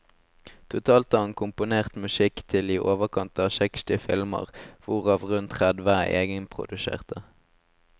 Totalt har han komponert musikk til i overkant av seksti filmer, hvorav rundt tredve er egenproduserte.